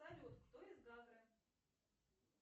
салют кто из гагры